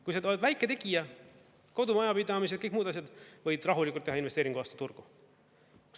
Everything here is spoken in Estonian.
Kui sa oled väike tegija, kodumajapidamised, kõik muud asjad, võid rahulikult teha investeeringu vastu turgu.